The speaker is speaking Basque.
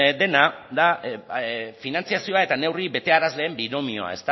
dena da finantzazioa eta neurri betearazleen binomioa